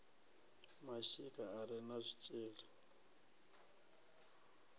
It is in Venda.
mashika a re na zwitshili